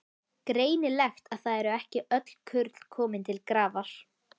Greinilegt að það eru ekki öll kurl komin til grafar!